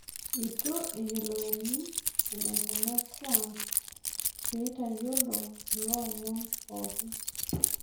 Eitu eyioloni eneikuna Trump peetayiolo kulo omon pookin